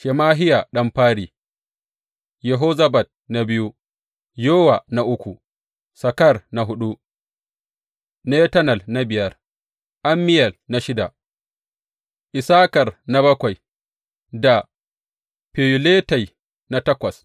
Shemahiya ɗan fari, Yehozabad na biyu, Yowa na uku, Sakar na huɗu Netanel na biyar, Ammiyel na shida, Issakar na bakwai da Feyuletai na takwas.